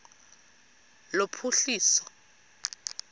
lophuhliso